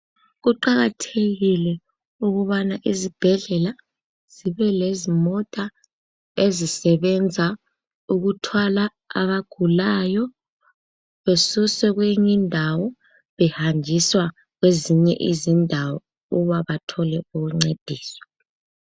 Kuqakathekile ukubana izibhedlela zibe lezimota ezisebenza ukuthwala abagulayo besuswe kweyinye indawo behanjiswa kwezinye izindawo ukuba bathole ukuncediswa.